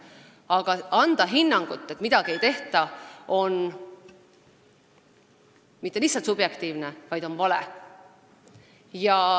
Aga kui antakse hinnang, et midagi ei tehta, siis see ei ole mitte lihtsalt subjektiivne, vaid see on vale.